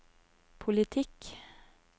politikk